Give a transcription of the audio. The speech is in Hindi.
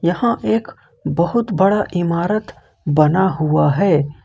यहां एक बहुत बड़ा इमारत बना हुआ है।